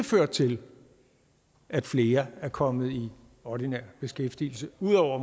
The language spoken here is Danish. ført til at flere er kommet i ordinær beskæftigelse ud over